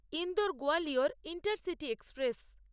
Indore Gwalior intercity express